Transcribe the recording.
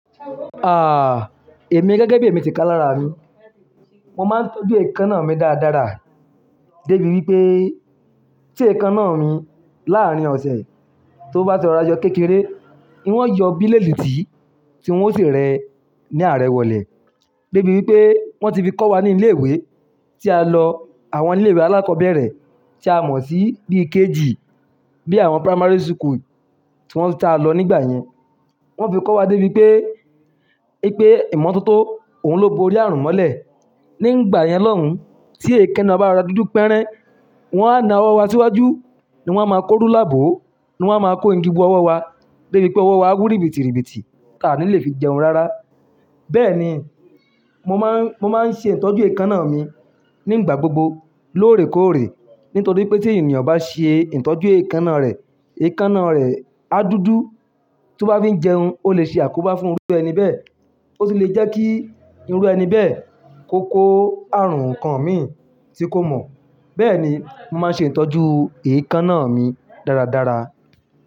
Ah, èmi gẹ́gẹ́ bí èmi ti kà lára mi, mo máa ń tọ́jú èékánná mi dáadára débi wípé tí èékánná mi láàrín ọ̀sẹ̀ tó bá ti rọ ra jọ kékeré, n ọ́ yọ bílédìtì tí n ó sì rẹ ní àrẹ̀wọ̀lẹ́. Débi wípé wọ́n ti fi kọ́ wa ní ilé ìwé tí a lọ àwọn ilé ìwé alákọ̀ọ́bẹ̀rẹ̀ tí a mọ̀ sí bíi KG bí àwọn primary school tí wọ́n ta lọ nígbà yẹn. Wọ́n fi kọ́ wa débi wípé, pé ìmọ́tótó òun ló bo orí àrùn mọ́lẹ̀. Nígbà yẹn lọ́un tí èékánná bá ra dúdú pẹ́rẹ́, wọ́n á na ọwọ́ wa síwájú, ni wọ́n á máa kórú láàbò, ni wọ́n á máa kó igun owo wa débi pé ọwọ́ wa á wú ribitiribiti tí a ní le fi jẹun rárá. Bẹ́ẹ̀ ni, mo má ń, mo má ń ṣe ìtọ́jú èékánná mi nígbà gbogbo lóòrèkóòrè. Nítorí pé tí ènìyàn bá ṣe ìtọ́jú èékánná rẹ̀, èékánná rẹ̀ á dúdú. Tó bá fi ń jẹun, ó lè ṣe àkóbá fún irú ẹni bẹ́ẹ̀. Ó sì lè jẹ́ kí irú ẹni bẹ́ẹ̀ kò kó àrùn kan mì tí kò mọ̀. Bẹ́ẹ̀ ni mo máa ń ṣe ìtọ́jú èékánná mi dáradára.